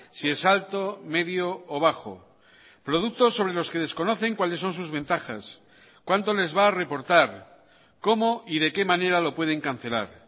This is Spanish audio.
si es alto medio o bajo productos sobre los que desconocen cuáles son sus ventajas cuánto les va a reportar cómo y de qué manera lo pueden cancelar